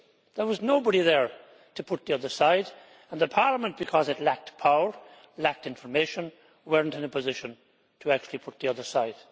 There was nobody there to put the other side, and Parliament, because it lacked power and lacked information, was not in a position to actually put the other side.